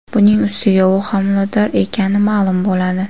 Buning ustiga, u homilador ekani ma’lum bo‘ladi.